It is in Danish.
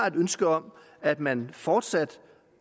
et ønske om at man fortsat